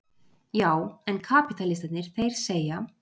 Já en kapítalistarnir, þeir segja.